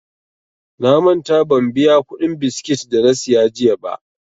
Na manta ban biya kuɗin biskit dana siya jiya ba.